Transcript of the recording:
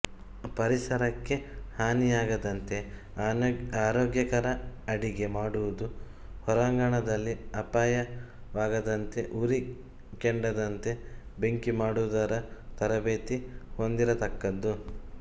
ಪರಿಸರಕ್ಕೆ ಹಾನಿಯಾಗದಂತೆ ಆರೋಗ್ಯಕರ ಅಡಿಗೆ ಮಾಡುವುದು ಹೊರಾಂಗಣದಲ್ಲಿ ಅಪಾಯವಾಗದಂತೆ ಉರಿ ಕೆಡದಂತೆ ಬೆಂಕಿಮಾಡುವುದರ ತರಬೇತಿ ಹೊಂದಿರತಕ್ಕದ್ದು